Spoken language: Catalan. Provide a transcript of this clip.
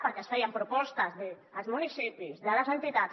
perquè es feien propostes dels municipis de les entitats